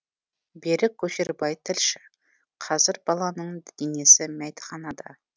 берік көшербай тілші қазір баланың денесі мәйітханада